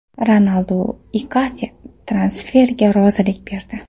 Ronaldu Ikardi transferiga rozilik berdi.